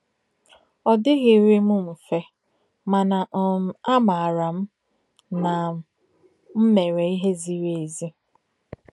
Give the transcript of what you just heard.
Ọ dịghịrị m mfe mana um a maara m na m mere ihe ziri ezi.